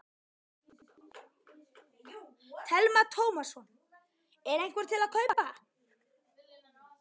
Telma Tómasson: Er einhver til að kaupa?